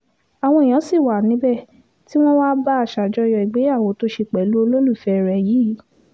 àwọn èèyàn sì wà níbẹ̀ tí wọ́n wàá bá a ṣàjọyọ̀ ìgbéyàwó tó ṣe pẹ̀lú olólùfẹ́ rẹ yìí